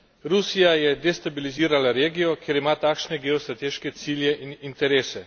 Rusija je destabilizirala regijo, ker ima takšne geostrateške cilje in interese.